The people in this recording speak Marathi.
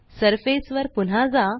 सरफेस वर पुन्हा जा